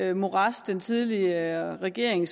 det morads den tidligere regering